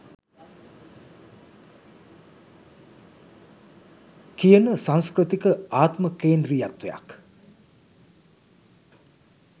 කියන සංස්කෘතික ආත්ම කේන්ද්‍රීයත්වයක්